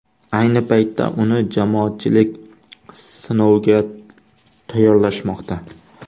Ayni paytda uni jamoatchilik sinoviga tayyorlashmoqda.